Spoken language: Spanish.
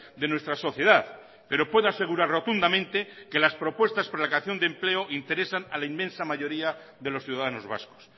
de nuestra sociedad pero puedo asegurar rotundamente que las propuestas por la creación de empleo interesan a la inmensa mayoría de los ciudadanos vascos